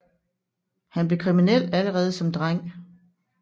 Han blev kriminel allerede som dreng